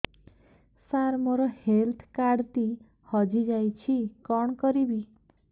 ସାର ମୋର health card ଟି ହଜି ଯାଇଛି କଣ କରିବି